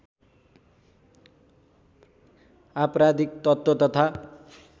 आपराधिक तत्त्व तथा